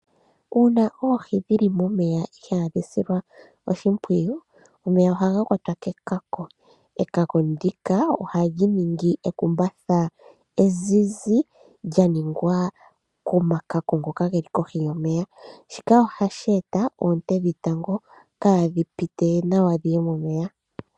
Uuna oohi dhili momeya ihaadhi silwa oshimpwiyu, omeya ohaga kwatwa kekako. Ekako ndika, ohali ningi ekumbatha ezizi, lya ningwa komakako ngoka geli kohi yomeya. Shika ohashi eta oonte dhetango, kaadhi pite nawa dhiye momeya.